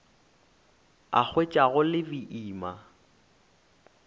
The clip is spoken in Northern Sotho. a hwetša go le boima